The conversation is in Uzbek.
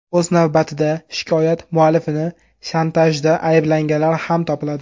O‘z navbatida, shikoyat muallifini shantajda ayblaganlar ham topiladi.